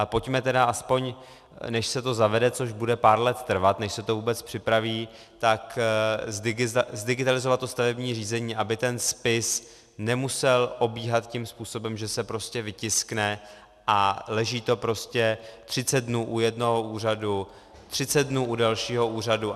A pojďme tedy aspoň, než se to zavede, což bude pár let trvat, než se to vůbec připraví, tak zdigitalizovat to stavební řízení, aby ten spis nemusel obíhat tím způsobem, že se prostě vytiskne a leží to prostě 30 dnů u jednoho úřadu, 30 dnů u dalšího úřadu.